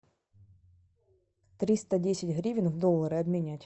триста десять гривен в доллары обменять